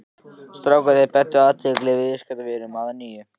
Strákarnir beindu athyglinni að viðskiptunum að nýju.